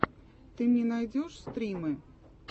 ты мне найдешь стримы